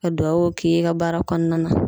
Ka duwawuw k'i ye i ka baara kɔnɔna na